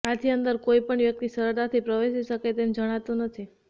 આથી અંદર કોઇપણ વ્યકિત સરળતાથી પ્રવેશી શકે તેમ જણાતું નથી